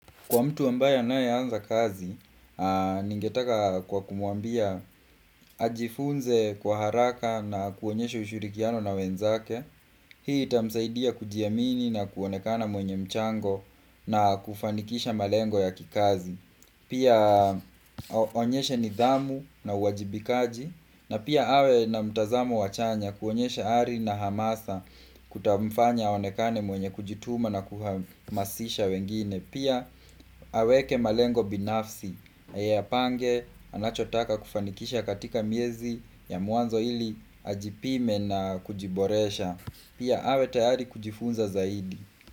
Kwa mtu ambaye ana anza kazi, ningetaka kumwambia ajifunze kwa haraka na kuonyesha ushurikiano na wenzake, hii itamsaidia kujiamini na kuonekana mwenye mchango na kufanikisha malengo ya kikazi. Pia aonyeshe nidhamu na uwajibikaji na pia awe na mtazamo wa chanya kuonyesha ari na hamasa kutamfanya aonekane mwenye kujituma na kuhamasisha wengine. Pia aweke malengo binafsi, ayapange anachotaka kufanikisha katika miezi ya mwanzo ili ajipime na kujiboresha Pia awe tayari kujifunza zaidi.